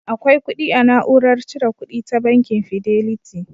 Akwai kudi a na'urar cire kuɗi ta bankin Fideliti